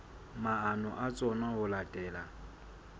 maano a tsona ho latela